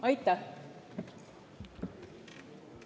Aitäh!